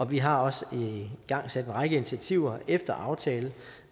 vi har også igangsat en række initiativer efter aftale